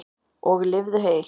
Og lifðu heil!